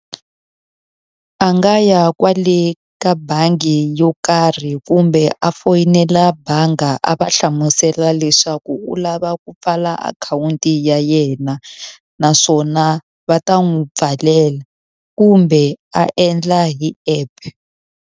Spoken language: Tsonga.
A nga ya kwale ka bangi yo karhi kumbe a foyinela banga a va hlamusela leswaku u lava ku pfala akhawunti ya yena. Naswona va ta n'wi pfalela. Kumbe a endla hi app.